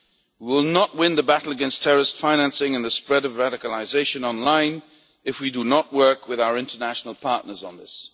We will not win the battle against terrorist financing and the spread of radicalisation online if we do not work with our international partners on this.